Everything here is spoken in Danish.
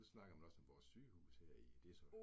Nu snakker man også om vores sygehus her i, det så